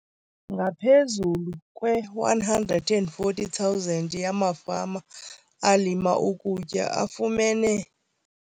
Ngaphezulu kwe-140 000 yamafama alima ukutya afumene.